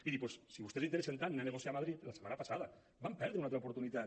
miri doncs si a vostès els interessa tant anar a negociar a madrid la setmana passada van perdre una altra oportunitat